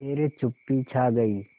फिर चुप्पी छा गई